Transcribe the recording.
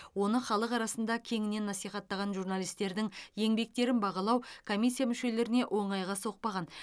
оны халық арасында кеңінен насихаттаған журналистердің еңбектерін бағалау комиссия мүшелеріне оңайға соқпаған